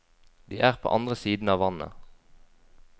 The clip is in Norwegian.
De er på andre siden av vannet.